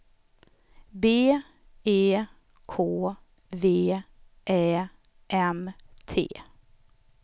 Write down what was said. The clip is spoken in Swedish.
B E K V Ä M T